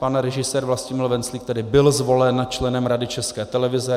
Pan režisér Vlastimil Venclík tedy byl zvolen členem Rady České televize.